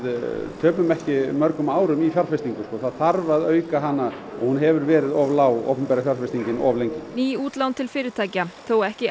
töpum ekki mörgum árum í fjárfestingu það þarf að auka hana og hún hefur verið of lág opinbera fjárfestingin of lengi ný útlán til fyrirtækja þá ekki